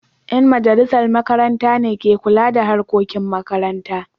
Yan majalisar makaranta ne ke kula da harkokin makaranta.